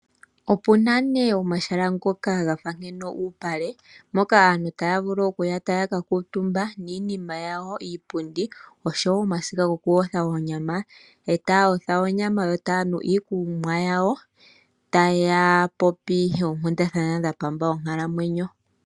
Opuna nee omahala ngoka gafa ngeno uupale moka aantu taya vulu okuya taya ka kuutumba niinima yawo iipundi osho woo omasiga gawo goku yotha oonyama , eta ya yotha onyama yo taya nu iikunwa yawo taya popi oonkundathana dha pamba onkalamwenyo .